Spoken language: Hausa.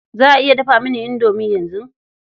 Za a iya dafa mini indomi yanzu?